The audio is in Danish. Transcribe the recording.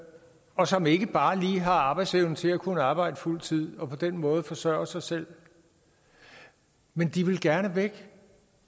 og som ikke bare lige har arbejdsevnen til at kunne arbejde fuld tid og på den måde forsørge sig selv men de vil gerne væk